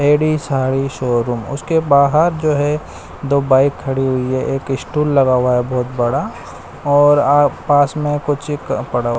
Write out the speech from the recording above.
ladies sari showroom उसके बाहर जो है दो बाइक खड़ी हुई है एक स्टूल लगा हुआ है बहोत बड़ा और आ पास में कुछ कपड़ा--